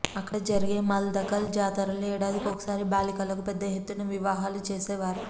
అక్కడ జరిగే మల్దకల్ జాతరలో ఏడాదికోసారి బాలికలకు పెద్ద ఎత్తున వివాహాలు చేసేవారు